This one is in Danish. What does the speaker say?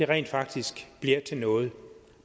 rent faktisk bliver til noget